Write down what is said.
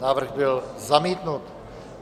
Návrh byl zamítnut.